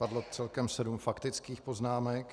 Padlo celkem sedm faktický poznámek.